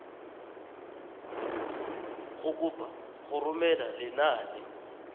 go kopa go romela lenane